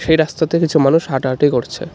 এই রাস্তাতে কিছু মানুষ হাঁটাহাঁটি করছে।